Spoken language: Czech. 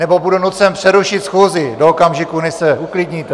Nebo budu nucen přerušit schůzi do okamžiku, než se uklidníte!